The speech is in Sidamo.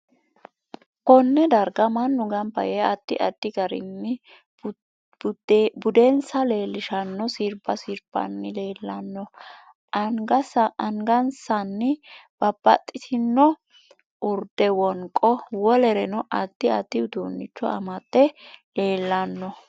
Konne darga mannu ganba yee addi addi garinni budensa leelishanno sirbba sirbanni leelanno angasanni babbaxitino urdde, wonqo wolereno addi addi uduunicho amade leelanno